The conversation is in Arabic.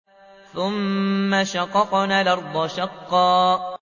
ثُمَّ شَقَقْنَا الْأَرْضَ شَقًّا